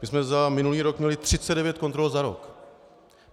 My jsme za minulý rok měli 39 kontrol za rok.